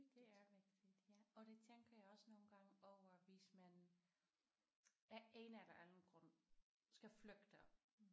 Det er vigtigt ja og det tænker jeg også nogle gange over hvis man af en eller anden grund skal flygte